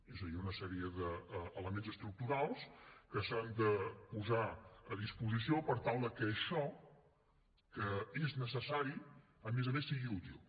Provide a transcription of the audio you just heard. és a dir una sèrie d’elements estructurals que s’han de posar a disposició per tal que això que és necessari a més a més sigui útil